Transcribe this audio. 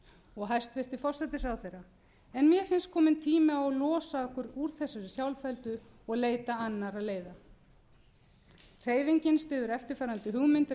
og hæstvirtur forsætisráðherra en mér finnst kominn tími á að losa okkur úr þessari sjálfheldu og leita annarra leiða hreyfingin styður eftirfarandi hugmyndir að